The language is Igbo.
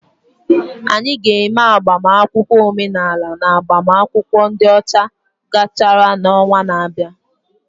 Anyị ga-eme agbamakwụkwọ omenala ma agbamakwụkwọ ndi ọcha gachara n'ọnwa na-abịa.